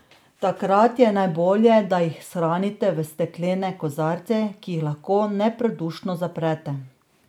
Takrat je najbolje, da jih shranite v steklene kozarce, ki jih lahko nepredušno zaprete.